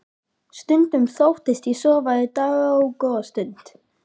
Stundum þóttist ég sofa í dágóða stund.